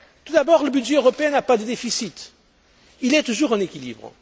Tout d'abord, le budget européen n'a pas de déficit il est toujours en équilibre.